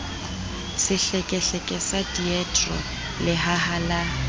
sehlekehleke sa diedro lehaha la